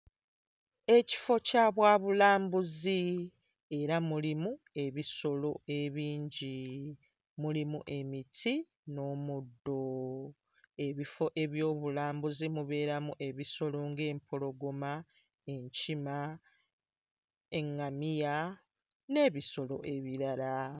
Ekifo kya bwabulambuzi era mulimu ebisolo ebingi. Mulimu emiti n'omuddo. Ebifo eby'obulambuzi mubeeramu ebisolo ng'empologoma, enkima, eŋŋamiya n'ebisolo ebirala.